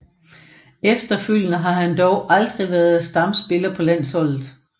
Efterfølgende har han dog aldrig været stamspiller på landsholdet